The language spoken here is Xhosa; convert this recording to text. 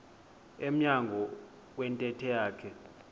emnyango wentente yakhe